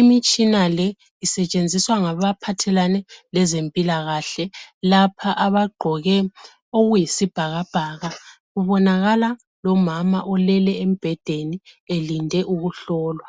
Imitshina le isetshenziswa ngaba phathelane lezempila kahle lapha abaqgoke okuyisibhakabhaka kubonakala lomama olele embhedeni elinde ukuhlolwa